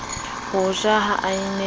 ho ja ha a ne